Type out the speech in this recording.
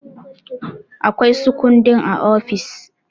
Akwai su kundi a ofis.